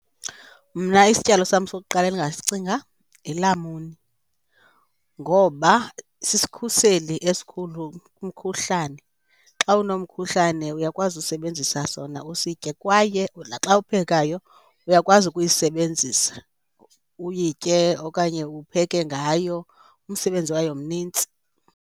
Mna isityalo sam sokuqala endingasicinga yilamuni ngoba sisikhuseli esikhulu kumkhuhlane. Xa unomkhuhlane uyakwazi usebenzisa sona usitye kwaye naxa uphekayo uyakwazi ukuyisebenzisa uyitye okanye upheke ngayo. Umsebenzi wayo mnintsi.